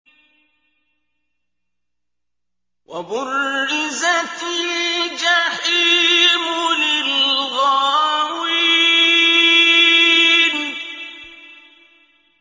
وَبُرِّزَتِ الْجَحِيمُ لِلْغَاوِينَ